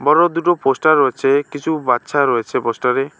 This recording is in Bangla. বড়ো দুটো পোস্টার রয়েছে কিছু বাচ্ছা রয়েছে পোস্টারে।